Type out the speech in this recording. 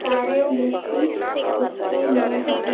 सारे लीची गुच्छे में है।